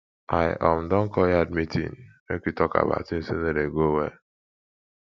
i um don call yard meeting make we tok about tins wey no dey go well